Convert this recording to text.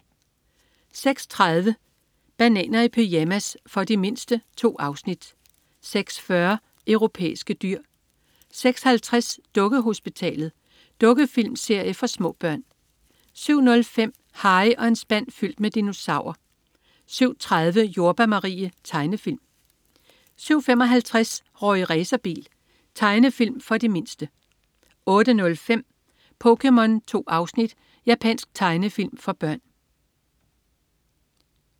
06.30 Bananer i pyjamas. For de mindste. 2 afsnit 06.40 Europæiske dyr 06.50 Dukkehospitalet. Dukkefilmserie for små børn 07.05 Harry og en spand fyldt med dinosaurer 07.30 Jordbær Marie. Tegnefilm 07.55 Rorri Racerbil. Tegnefilm for de mindste 08.05 POKéMON. 2 afsnit. Japansk tegnefilm for børn